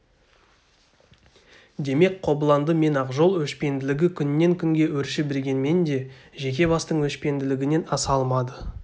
демек қобыланды мен ақжол өшпенділігі күннен күнге өрши бергенмен де жеке бастың өшпенділігінен аса алмады